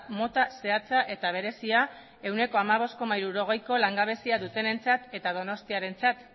mota zehatza eta berezia ehuneko hamabost koma hirurogeiko langabezia dutenentzat eta donostiarentzat